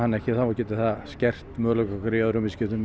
ekki þá getur það skert möguleika okkar í öðrum viðskiptum